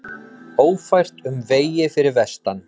Ófært um vegi fyrir vestan